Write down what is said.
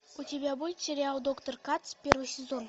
у тебя будет сериал доктор кац первый сезон